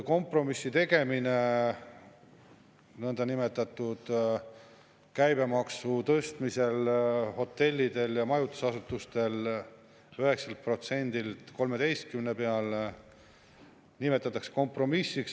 Kompromissi tegemine – käibemaksu tõstmist hotellidel ja majutusasutustel 9%-lt 13% peale nimetatakse kompromissiks.